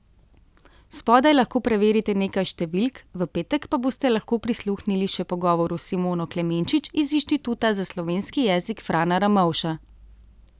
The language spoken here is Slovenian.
Spodaj lahko preverite nekaj številk, v petek pa boste lahko prisluhnili še pogovoru s Simono Klemenčič iz Inštituta za slovenski jezik Frana Ramovša.